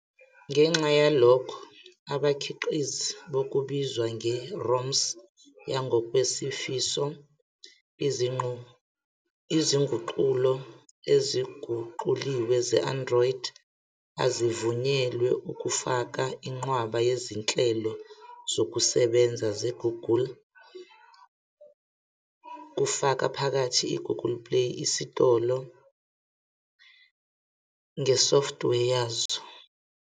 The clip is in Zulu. Ngenxa yalokho, abakhiqizi bokubizwa nge- "ROMs yangokwezifiso", i.e. izinguqulo eziguquliwe ze-Android, azivunyelwe ukufaka inqwaba yezinhlelo zokusebenza ze-Google, kufaka phakathi i-Google Play Isitolo, ngesoftware yazo.